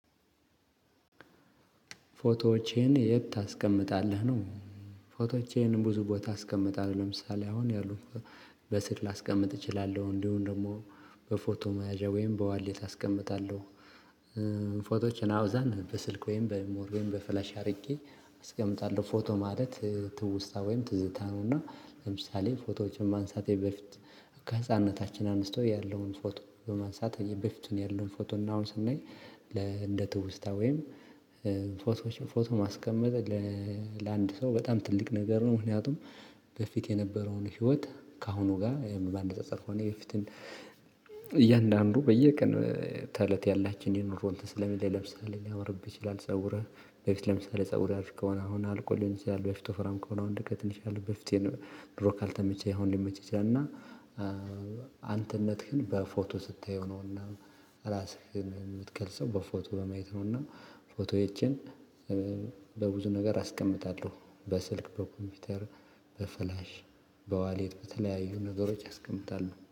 ፎቶዎቼን የት ታስቀምጣለህ ነው? ፎቶዎቼን ብዙ ቦታ አስቀምጣለሁ ለምሳሌ አሁን ያሉት በስልክ ላስቀምጥ እችላለሁ እንዲሁም ደግሞ በፎቶ መያዣ ወይም በዋሌት አስቀምጣለሁ። ፎቶዎችን አብዛኛውን በስልክ ወይም በሚሞሪ ወይም በፍላሽ አድርጌ አስቀምጣለሁ ፎቶ ማለት ትውስታ ወይም ትዝታ ነው። እና ለምሳሌ ፎቶዎችን ማንሳቴ በፊት ከህፃንነታችን አንስቶ ያለውን ፎቶ በማንሳት በፊቱን ያለውን ፎቶ እና አሁን ስናይ ለ እንደ ትውስታ ወይም ፎቶዎች ፎቶ ማስቀመጥ ለአንድ ሰው በጣም ትልቅ ነገር ነው። ምክንያቱም ከፊት የነበረውን ህይወት ከአሁኑ ጋር በማነጻጸር ሆነ የፊቱን እያንዳንዱ በየቀን ተለት ያላችን የኑሮ እንትን ስለሚለያይ ለምሳሌ ሊያመርብህ ይችላል። ጸጉርህ በፊት ለምሳሌ ፀጉሬ አሪፍ ከሆነ አሁን አልቆ ሊሆን ይችላል። በፊት ወፍራም ከሆነ እሁን ሊቀጥን ይችላል። በፊት ድሮ ካልተመቸህ አሁን ሊመችህ ይችላል። እና አንተነትህን በፎቶ ስታየው ነውና ራስህን የምትገልጸው በፎቶ በማየት ነውና። ፎቶዎቼን በብዙ ነገር አስቀምጣለሁ በስልክ በኮምፒውተር በፍላሽ በዋሌት በተለያዩ ነገሮች አስቀምጠው